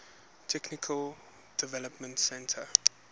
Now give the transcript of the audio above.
technical development center